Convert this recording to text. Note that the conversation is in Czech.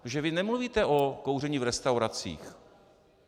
Protože vy nemluvíte o kouření v restauracích.